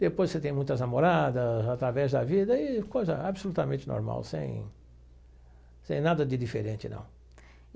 Depois você tem muitas namoradas através da vida e coisa absolutamente normal, sem sem nada de diferente, não.